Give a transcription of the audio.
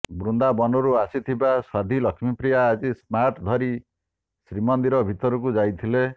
ବୃନ୍ଦାବନରୁ ଆସିଥିବା ସାଧ୍ୱୀ ଲକ୍ଷ୍ମୀପ୍ରିୟା ଆଜି ସ୍ମାର୍ଟ ଧରି ଶ୍ରୀମନ୍ଦିର ଭିତରକୁ ଯାଇଥିଲେ